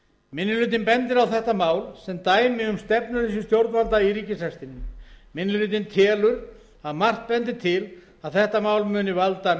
minni hlutinn bendir á þetta mál sem dæmi um stefnuleysi stjórnvalda í ríkisrekstrinum minni hlutinn telur að margt bendi til að þetta mál muni valda